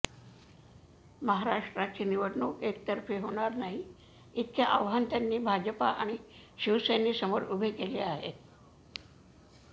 महाराष्ट्राची निवडणूक एकतर्फी होणार नाही इतके आव्हान त्यांनी भाजप आणि शिवसेनेसमोर उभे केले आहे